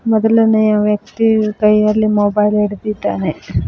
ಮೊದಲನೆಯ ವ್ಯಕ್ತಿ ಕೈಯಲ್ಲಿ ಮೊಬೈಲ್ ಹಿಡಿದಿದ್ದಾನೆ.